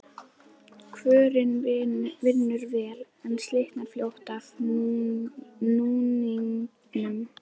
Kvörnin vinnur vel, en slitnar fljótt af núningnum.